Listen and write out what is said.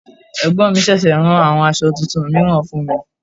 Ẹ̀gbọ́n mi ṣẹ̀ṣẹ̀ rán àwọn aṣọ tuntun mìíràn fún mi.